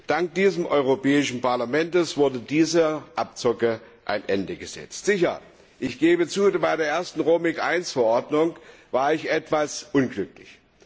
Dank diesem Europäischen Parlament wurde dieser Abzocke ein Ende gesetzt. Sicher, ich gebe zu, bei der Roaming I Verordnung war ich etwas unglücklich.